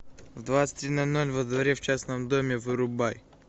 в двадцать три ноль ноль во дворе в частном доме вырубай